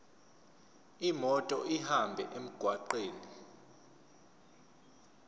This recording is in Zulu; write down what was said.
imoto ihambe emgwaqweni